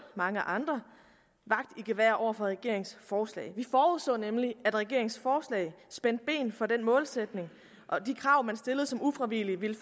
mange andre vagt i gevær over for regeringens forslag vi forudså nemlig at regeringens forslag spændte ben for den målsætning og de krav man stillede som ufravigeligt ville